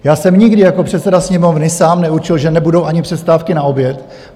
Já jsem nikdy jako předseda Sněmovny sám neurčil, že nebudou ani přestávky na oběd.